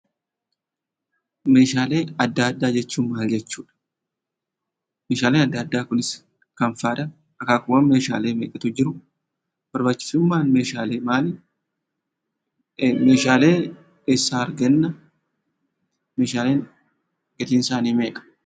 Meeshaalee addaa addaa jechuun maal jechuudha? Meeshaalee addaa addaa kunis maal fa'aadha? Akaakuuwwan Meeshaalee meeqatu jiru? Barbaachisummaan Meeshaalee maali? Meeshaalee eessa arganna? Meeshaaleen gatiin isaanii meeqa?